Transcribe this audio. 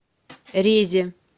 резе